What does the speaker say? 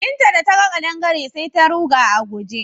Binta da ta ga ƙadangare sai ta ruga a guje.